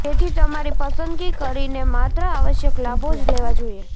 તેથી તમારી પસંદગી કરીને માત્ર આવશ્યક લાભો જ લેવા જોઈએ